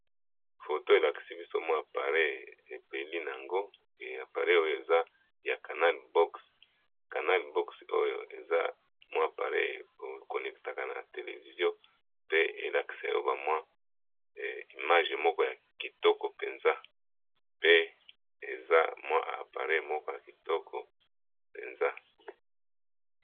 Foto elakisi biso mwa pareil epeli na yango, appareil oyo eza ya canal boxs, canal boxs oyo eza mwa appareil ekonnektaka na televizio pe elakisa yo ba mwa image moko ya kitoko mpenza pe eza mwa appareil moko ya kitoko penza.